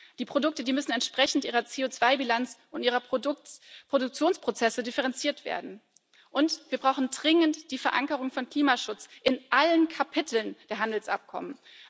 Die Produkte müssen entsprechend ihrer CO2 Bilanz und ihrer Produktionsprozesse differenziert werden, und wir brauchen dringend die Verankerung von Klimaschutz in allen Kapiteln der Handelsabkommen.